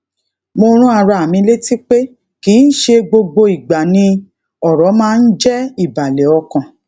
mo rán ara mi létí pé kì í ṣe gbogbo ìgbà ni ọrọ máa ń jẹ ìbàlẹ ọkàn